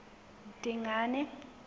dingane